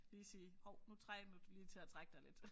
Lige sige hov nu trænger du lige til at trække dig lidt